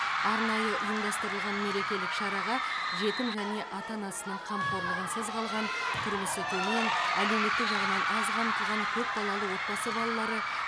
арнайы ұйымдастырылған мерекелік шараға жетім және ата анасының қамқорлығынсыз қалған тұрмысы төмен әлеуметтік жағынан аз қамтылған көпбалалы отбасы балалары